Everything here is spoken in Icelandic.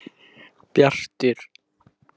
Bjartur